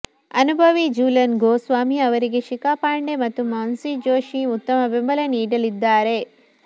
ಅನುಭವಿ ಜೂಲನ್ ಗೋಸ್ವಾಮಿ ಅವರಿಗೆ ಶಿಖಾ ಪಾಂಡೆ ಮತ್ತು ಮಾನ್ಸಿ ಜೋಶಿ ಉತ್ತಮ ಬೆಂಬಲ ನೀಡಲಿದ್ದಾರೆ